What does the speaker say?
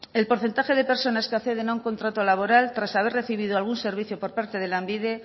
el porcentaje de personas que acceden a un contrato laboral tras haber recibido algún servicio por parte de lanbide